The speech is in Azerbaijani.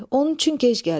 Onun üçün gec gəldik.